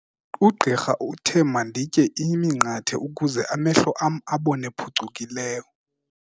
Ugqirha uthe manditye iminqathe ukuze amehlo am abone phucukileyo.